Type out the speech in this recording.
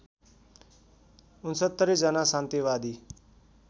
६९ जना शान्तिवादी